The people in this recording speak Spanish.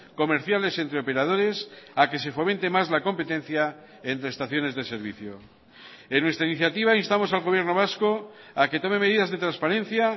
comerciales entre operadores a que se fomente más la competencia entre estaciones de servicio en nuestra iniciativa instamos al gobierno vasco a que tome medidas de transparencia